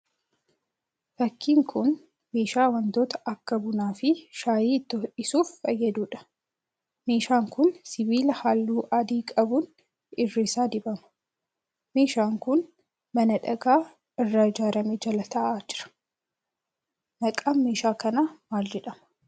Fakkiin kun meeshaa wantoota akka bunaa fi shaayee itti ho'isuuf fayyaduudha. Meeshaan kun sibiila halluu adii qabuun irri isaa dibama. Meeshaan kun mana dhagaa irraa ijaarame jala ta'aa jira. Maqaan meeshaa kanaa maal jedhama?